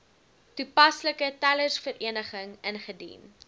toepaslike telersvereniging ingedien